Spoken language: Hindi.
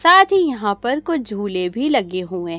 साथ ही यहां पर कुछ झूले भी लगे हुएं--